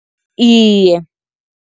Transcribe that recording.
Iye.